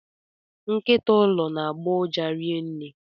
Nkịta ụlọ na agbọ uja rinne.